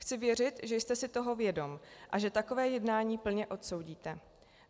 Chci věřit, že jste si toho vědom a že takové jednání plně odsoudíte.